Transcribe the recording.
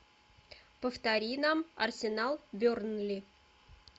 повтори нам арсенал бернли